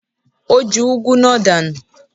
Ó ju úgú náà dànù.